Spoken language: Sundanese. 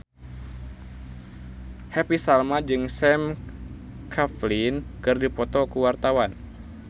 Happy Salma jeung Sam Claflin keur dipoto ku wartawan